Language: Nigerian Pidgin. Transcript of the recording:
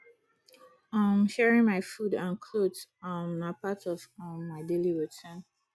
um sharing my food and clothes um na part of um my daily routine